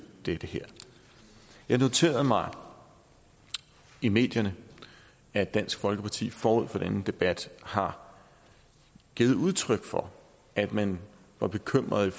det her jeg noterede mig i medierne at dansk folkeparti forud for denne debat har givet udtryk for at man var bekymret